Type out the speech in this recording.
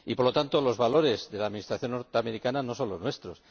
Y, por lo tanto, los valores de la Administración estadounidense no son los nuestros.